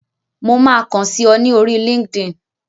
Mo máa kán sí ọ ní orí linkedin.